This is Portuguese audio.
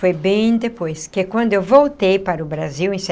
Foi bem depois, que é quando eu voltei para o Brasil em